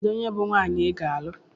Kedu onye bụ nwaanyị ị ga-alụ?